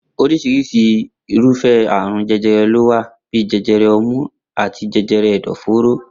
Orísirisi irúfé̩ àrùn je̩je̩re̩ ló wà bíi je̩je̩re̩ o̩mú àti je̩je̩re̩ è̩dò̩-fóró.